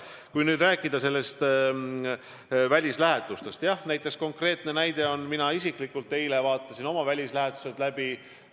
Kui rääkida välislähetustest, siis konkreetne näide on, et mina isiklikult eile vaatasin oma välislähetused läbi.